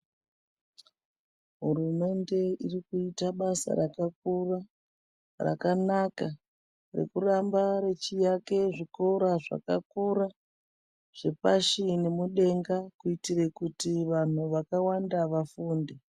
Hurumende irikuita basa rakakura, rakanaka, rekuramba rechiake zvikora zvakakura, zvepashi nemudenga, kuitira kuiti vantu vakawanda vafunde.